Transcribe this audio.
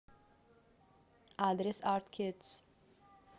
адрес арт кидс